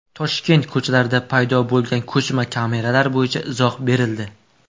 Toshkent ko‘chalarida paydo bo‘lgan ko‘chma kameralar bo‘yicha izoh berildi.